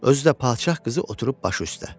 Özü də padşah qızı oturub başı üstə.